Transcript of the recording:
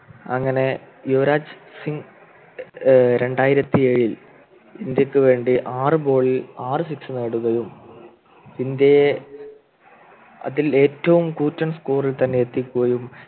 അങ്ങനെ യുവരാജ് സിംഗ് ഏർ രണ്ടായിരത്തി ഏഴിൽ ഇന്ത്യക്ക് വേണ്ടി ആറു Ball ൽ ആറു Six നേടുകയും ഇന്ത്യയെ അതിൽ ഏറ്റവും കൂറ്റൻ Score ൽ തന്നെ എത്തിക്കുകയും